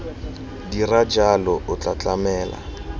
dira jalo o tla tlamela